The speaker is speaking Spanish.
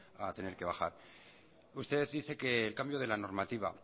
a tener que bajar usted dice que el cambio de la normativa